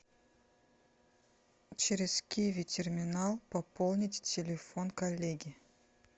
через киви терминал пополнить телефон коллеги